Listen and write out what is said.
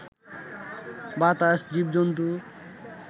বাতাস, জীব-জন্তু